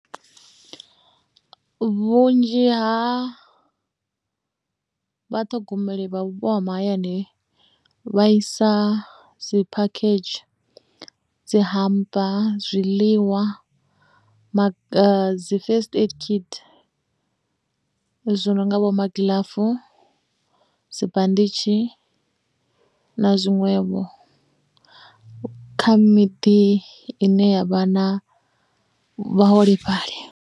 Vhunzhi ha vhaṱhogomeli vha vhupo ha mahayani vha isa dzi phakhedzhi dzi humper zwiḽiwa dzi first aid kit zwi no nga vho magilafu, dzibanditshi na zwiṅwevho kha miḓi ine ya vha na vhaholefhali.